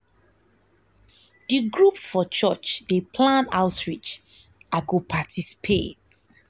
d group for church dey plan outreach i go participate.